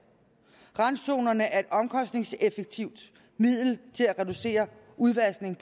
randzonerne er et omkostningseffektivt middel til at reducere udvaskningen